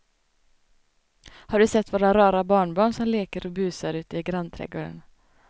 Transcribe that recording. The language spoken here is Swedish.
Har du sett våra rara barnbarn som leker och busar ute i grannträdgården!